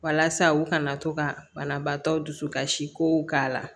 Walasa u kana to ka banabaatɔw dusu kasi kow k'a la